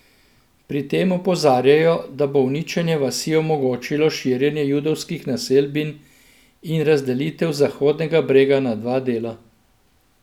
Pri tem opozarjajo, da bo uničenje vasi omogočilo širjenje judovskih naselbin in razdelitev Zahodnega brega na dva dela.